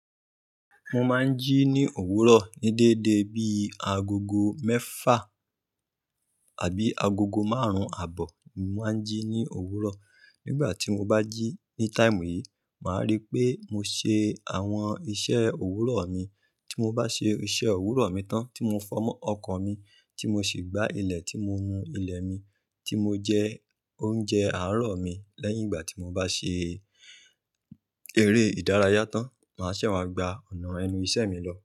Mo máa ń jí ní òwúrọ̀ ní dédé bí i agogo mẹ́fà àbí agogo márùn-ún àbọ̀ ni mo máa ń jí ní òwúrọ̀. Nígbà tí mo bá jí ní táìmù yìí, màá rí pé mo ṣe àwọn iṣẹ́ òwúrọ̀ mi. Tí mo bá ṣe iṣẹ́ òwúrọ̀ mi tán, tí mo fọ ọkọ̀ mi, tí mo sì gbá ilẹ̀, tí mo nu ilẹ̀ mi, tí mo jẹ oúnjẹ àárọ̀ mi. Lẹ́yìn ìgbà tí mo bá ṣe eré ìdárayá tán, màá ṣẹ wá gba ọ̀nà ẹnu iṣẹ́ mi lọ.